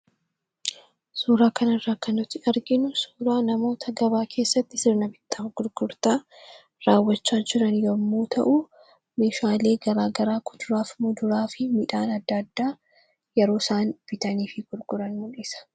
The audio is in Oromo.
Suuraa kanarraa kan nuti arginu namoota gabaa keessatti sirna bittaa fi gurgurtaa raawwachaa jiran yommuu ta'u, meeshaalee garaagaraa kuduraa fi muduraa midhaan adda addaa yeroo isaan bitanii fi gurguran mul'isa.